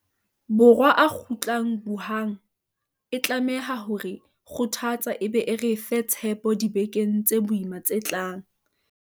Borwa a kgutlang Wuhan e tlameha ho re kgothatsa e be e re fe tshepo dibekeng tse boima tse tlang.